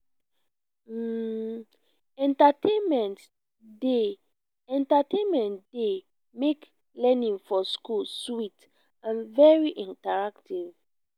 um entertainment dey entertainment dey make learning for school sweet and very interactive